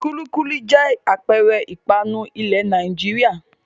Kúlíkúlí jẹ́ àpẹẹrẹ ìpanu ilẹ̀ Nàìjíríà.